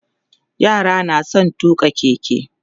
yara na da San tuƙa keke